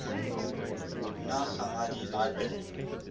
nag hammadi library